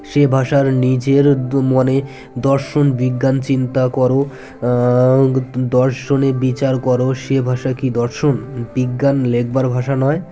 সে ভাষার নিজের দু মনে দর্শন বিজ্ঞান চিন্তা কর আ আ দর্শনে বিচার কর সে ভাষা কী দর্শন বিজ্ঞান লেখবার ভাষা নয়